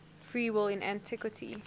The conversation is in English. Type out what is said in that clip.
free will in antiquity